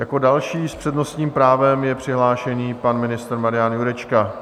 Jako další s přednostním právem je přihlášený pan ministr Marian Jurečka.